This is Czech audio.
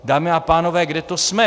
Dámy a pánové, kde to jsme?